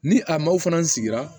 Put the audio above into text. Ni a mɔw fana sigira